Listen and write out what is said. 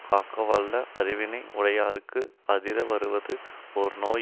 காக்கவல்ல அறிவினை உடையார்க்கு அதிர வருவது ஓர் நோய்